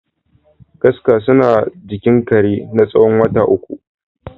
Kaska suna jikin kare natsawon wata uku.